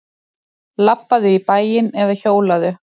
Labbaðu í bæinn eða hjólaðu.